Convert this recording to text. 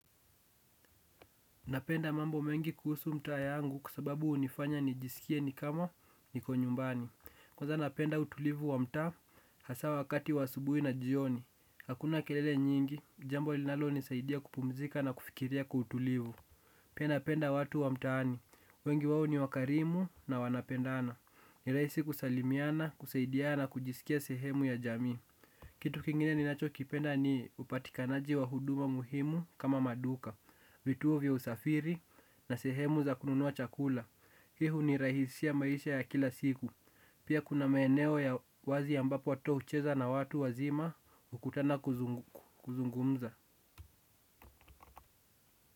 Napenda mambo mengi kuhusu mtaa yangu kwa sababu hunifanya nijisikie ni kama niko nyumbani. Kwanza napenda utulivu wa mtaa hasa wakati wa asubuhi na jioni. Hakuna kelele nyingi, jambo linalonisaidia kupumzika na kufikiria kwa utulivu. Pia napenda watu wa mtaani, wengi wao ni wakarimu na wanapendana. Ni rahisi kusalimiana, kusaidia na kujisikia sehemu ya jamii. Kitu kingine ninachokipenda ni upatikanaji wa huduma muhimu kama maduka vituo vya usafiri na sehemu za kununua chakula. Hii hunirahisishia maisha ya kila siku. Pia kuna maeneo ya wazi ambapo watoto hucheza na watu wazima, hukutana kuzungumza.